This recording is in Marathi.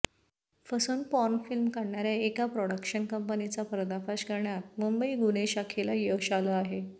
फसवून पॉर्नफिल्म काढणाऱ्या एका प्रॉडक्शन कंपनीचा पर्दाफाश करण्यात मुंबई गुन्हे शाखेला यश आलं आहे